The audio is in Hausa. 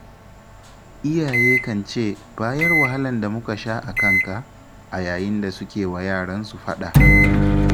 Iyaye kan ce 'bayan wahalar da muka sha a kanka' a yayin da suke wa yaransu faɗa.